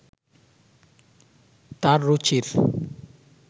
তার রুচির